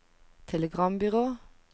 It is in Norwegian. telegrambyrå